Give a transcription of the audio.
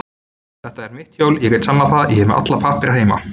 Þetta er mitt hjól, ég get sannað það, er með alla pappíra heima.